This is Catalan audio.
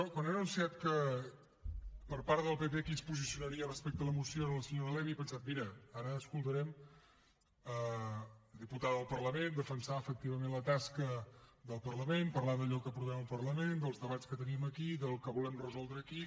quan han anunciat que per part del pp qui es posicionaria respecte a la moció era la senyora levy he pensat mira ara escoltarem la diputada del parlament defensar efectivament la tasca del parlament parlar d’allò que aprovem al parlament dels debats que tenim aquí del que volem resoldre aquí